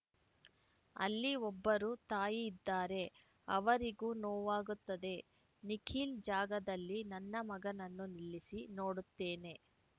ಅಲ್ಲಿ ಒಬ್ಬರು ತಾಯಿ ಇದ್ದಾರೆ ಅವರಿಗೂ ನೋವಾಗುತ್ತದೆ ನಿಖಿಲ್ ಜಾಗದಲ್ಲಿ ನನ್ನ ಮಗನನ್ನು ನಿಲ್ಲಿಸಿ ನೋಡುತ್ತೇನೆ